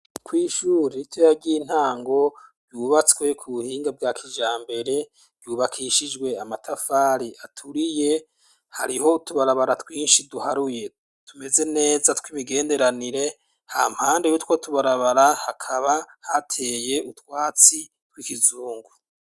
Kwishuri ritoya ry'intango ryubatswe ku buhinga bwa kijambere ryubakishijwe amatafari aturiye hariho utubarabara twinshi duharuye tumeze neza tw'imigenderanire hampande yutwo tubarabara hakaba hateye utwatsi tw'ikizungu.